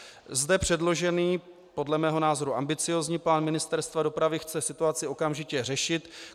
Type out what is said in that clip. Zde předložený, podle mého názoru ambiciózní plán Ministerstva dopravy chce situaci okamžitě řešit.